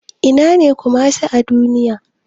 Ina ne Kumasi a Duniya?